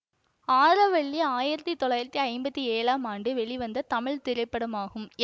ஆரவல்லி ஆயிரத்தி தொள்ளாயிரத்தி ஐம்பத்தி ஏழாம் ஆண்டு வெளிவந்த தமிழ் திரைப்படமாகும்